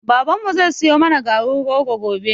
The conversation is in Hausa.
Babanmu zai siyo mana garin rogo gobe